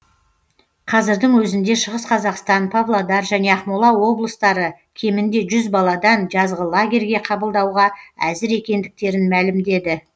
қазірдің өзінде шығыс қазақстан павлодар және ақмола облыстары кемінде жүз баладан жазғы лагерьге қабылдауға әзір екендіктерін мәлімдеді